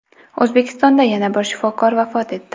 O‘zbekistonda yana bir shifokor vafot etdi.